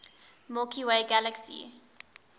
milky way galaxy